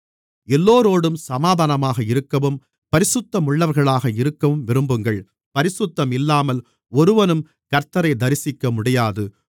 எல்லோரோடும் சமாதானமாக இருக்கவும் பரிசுத்தமுள்ளவர்களாக இருக்கவும் விரும்புங்கள் பரிசுத்தம் இல்லாமல் ஒருவனும் கர்த்த்தரை தரிசிக்கமுடியாது